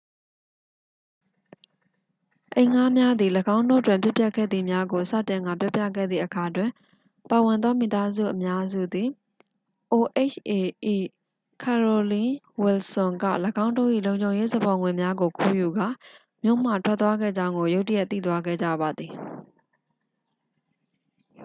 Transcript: အိမ်ငှားများသည် ၎င်းတို့တွင်ဖြစ်ပျက်ခဲ့သည်များကို စတင်ကာပြောပြခဲ့သည့်အခါတွင် ပါဝင်သော မိသားစုအများစုသည် oha ၏ carolyn wilson က ၎င်းတို့၏ လုံခြုံရေးစပေါ်ငွေများကို ခိုးယူကာ မြို့မှထွက်သွားခဲ့ကြောင်းကို ရုတ်တရက်သိသွားခဲ့ကြပါသည်